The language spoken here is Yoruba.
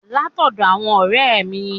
Látọ́dọ̀ àwọn n òré è mi